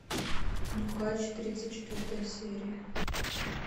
нюхач тридцать четвертая серия